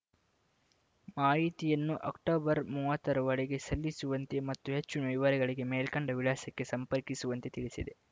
ಮಾಹಿತಿಯನ್ನು ಅಕ್ಟೊಬರ್ ಮೂವತ್ತ ರೊಳಗೆ ಸಲ್ಲಿಸುವಂತೆ ಮತ್ತು ಹೆಚ್ಚಿನ ವಿವರಗಳಿಗೆ ಮೇಲ್ಕಂಡ ವಿಳಾಸಕ್ಕೆ ಸಂಪರ್ಕಿಸುವಂತೆ ತಿಳಿಸಿದೆ